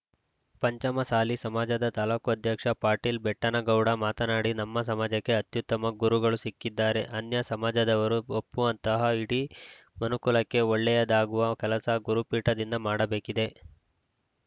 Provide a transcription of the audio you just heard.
ಪಂಚಮ ಸಾಲಿ ಸಮಾಜದ ತಾಲೂಕು ಅಧ್ಯಕ್ಷ ಪಾಟೀಲ್‌ ಬೆಟ್ಟನಗೌಡ ಮಾತನಾಡಿ ನಮ್ಮ ಸಮಾಜಕ್ಕೆ ಅತ್ಯುತ್ತಮ ಗುರುಗಳು ಸಿಕ್ಕಿದ್ದಾರೆ ಅನ್ಯ ಸಮಾಜದವರು ಒಪ್ಪುವಂತಹ ಇಡೀ ಮನುಕುಲಕ್ಕೆ ಒಳ್ಳೆಯದಾಗುವ ಕೆಲಸ ಗುರುಪೀಠದಿಂದ ಮಾಡಬೇಕಿದೆ